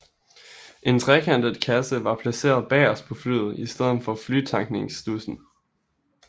En trekantet kasse var placeret bagerst på flyet i stedet for flytankningsstudsen